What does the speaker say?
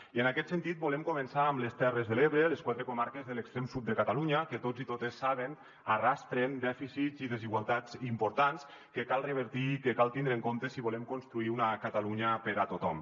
i en aquest sentit volem començar amb les terres de l’ebre les quatre comarques de l’extrem sud de catalunya que tots i totes ho saben arrosseguen dèficits i desigualtats importants que cal revertir i que cal tindre en compte si volem construir una catalunya per a tothom